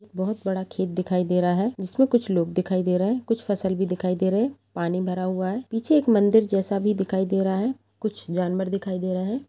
एक बहुत बड़ा खेत दिखाई दे रहा हैं जिसमे कुछ लोग दिखाई दे रहे हैं कुछ फसल भी दिखाई दे रहे हैं पानी भरा हुआ हैं पीछे के मंदिर जैसा भी दिखाई दे रहा हैं कुछ जानवर दिखाई दे रहे हैं।